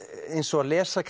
eins og að lesa